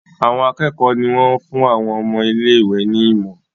Àwọn akékòó ní wón fún àwọn ọmọ ilé ìwé ní imo.